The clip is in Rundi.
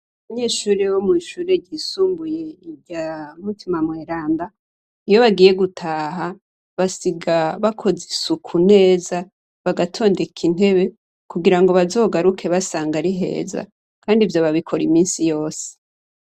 Abanyeshure bo mw'ishure ry'isumbuye rya Mutima Mweranda, iyo bagiye gutaha basiga bakoze isuku neza bagatondeka intebe, kugirango bazogaruke basanga ari heza, kandi ivyo babikora iminsi yose.